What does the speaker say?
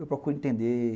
Eu procuro entender.